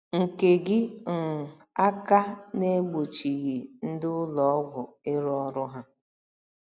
nke gị um aka n’egbochighị ndị ụlọ ọgwụ ịrụ ọrụ ha